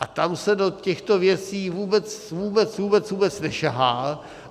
A tam se do těchto věcí vůbec, vůbec, vůbec, vůbec nesahá.